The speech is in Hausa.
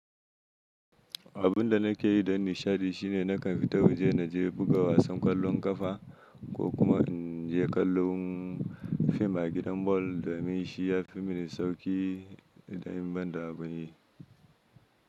Abun da nake yi don nishaɗi shine na kan fita waje na je buga wasan ƙwallon ƙafa ko kuma in je kallon fim a gidan bol da min shi ya fi mini sauƙi idan ban da abun yi.